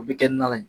O bɛ kɛ na ye